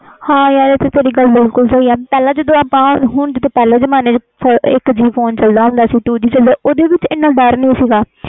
ਹਾ ਯਾਰ ਤੇਰੀ ਗੱਲ ਬਿਲਕੁਲ ਸਹੀ ਆ ਆਪਾ ਪਹਿਲੇ ਜਮਨੇ ਵਿਚ ਇਕ G phone two G phone ਚਲਦਾ ਸੀ ਉਸ ਵਿਚ ਕੋਈ ਡਰ ਨਹੀਂ ਸੀ